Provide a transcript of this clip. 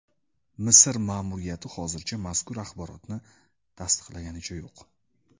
Misr ma’muriyati hozircha mazkur axborotni tasdiqlaganicha yo‘q.